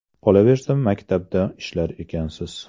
Qolaversa, maktabda ishlar ekansiz.